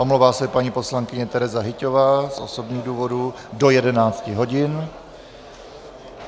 Omlouvá se paní poslankyně Tereza Hyťhová z osobních důvodů do 11 hodin.